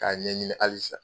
K'a ɲɛɲini halisa